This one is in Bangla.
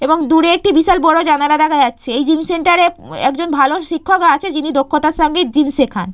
এবং দূরে একটি বিশাল বড় জানালা দেখা যাচ্ছে। এই জিম সেন্টার -এ উম একজন ভালো শিক্ষক আছে যিনি দক্ষতার সঙ্গে জিম সেখান।